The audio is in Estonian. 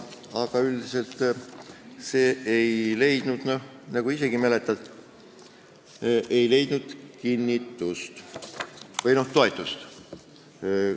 Aga see ei leidnud, nagu sa isegi mäletad, komisjonis kinnitust või toetust.